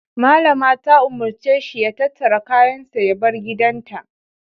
Mallama ta umarce shi ya tattara kayansa ya bar gidanta.